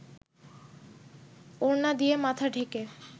ওড়না দিয়ে মাথা ঢেকে